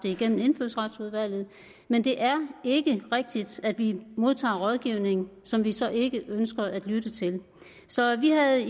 igennem indfødsretsudvalget men det er ikke rigtigt at vi modtager rådgivning som vi så ikke ønsker at lytte til så vi havde